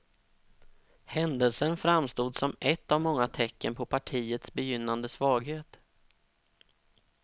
Händelsen framstod som ett av många tecken på partiets begynnande svaghet.